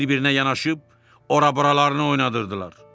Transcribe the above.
Bir-birinə yanaşıb ora-buralarını oynadırdılar.